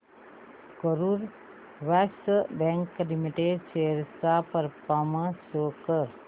Karur Vysya bank limited shares चा performance show कर